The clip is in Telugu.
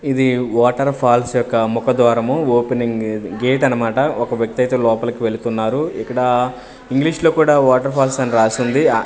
ఇది వాటర్ ఫాల్స్ యొక్క ముఖ ద్వారము ఓపెనింగ్ గేట్ అనమాట ఒక వ్యక్తి అయితే లోపలికి వెళుతున్నారు ఇక్కడ ఇంగ్లీషులో కూడా వాటర్ ఫాల్స్ అని రాసి ఉంది ఆ--